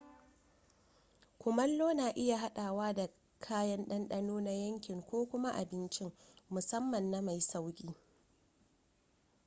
kumallo na iya haɗawa da kayan ɗanɗano na yankin ko kuma abincin musamman na mai masauki